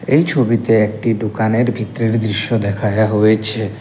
এই ছবিতে একটি দোকানের ভিতরের দৃশ্য দেখায়া হয়েছে।